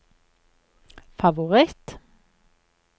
favoritt